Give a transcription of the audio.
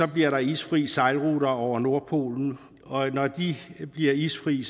bliver der isfri sejlruter over nordpolen og når de bliver isfri